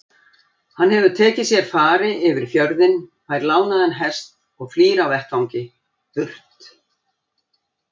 Hann hefur tekið sér fari yfir fjörðinn, fær lánaðan hest og flýr af vettvangi- burt!